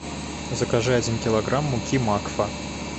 закажи один килограмм муки макфа